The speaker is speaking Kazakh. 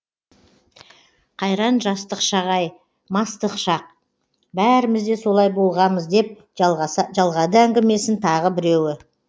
қайран жастық шақ ай мастық шақ бәріміз де солай болғамыз деп жалғады әңгімесін тағы біреуі